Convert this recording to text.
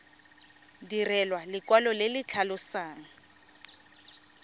direlwa lekwalo le le tlhalosang